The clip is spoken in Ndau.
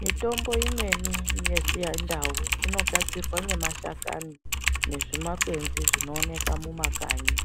Mitombo imweni yechindau inogadzirwa ngemashakani nezvimakwenzi zvinowonekwa mumakanyi.